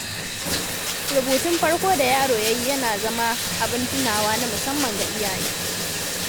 Rubutun farko da yaro ya yi yana zama abin tunawa na musamman ga iyaye.